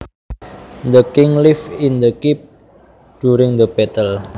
The king lived in the keep during the battle